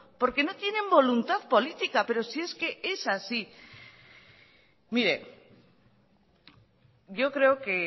porque no tienen voluntad política pero si es que es así mire yo creo que